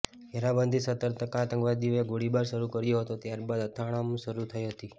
ઘેરાબંધી સતર્કતા આતંકવાદીઓએ ગોળીબાર શરૂ કર્યો હતો ત્યાર બાદ અથડામણ શરૂ થઈ હતી